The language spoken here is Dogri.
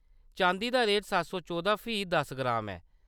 चांदी दा रेट सत्त सौ चौदां फी दस ग्राम ऐ।